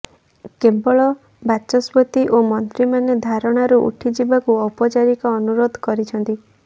କେବଳ ବାଚସ୍ପତି ଓ ମନ୍ତ୍ରୀମାନେ ଧାରଣାରୁ ଉଠିଯିବାକୁ ଔପଚାରିକ ଅନୁରୋଧ କରୁଛନ୍ତି